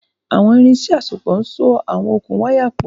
Àwọn irinṣẹ́ àsopọ̀ ń so àwọn okùn wáyà pọ̀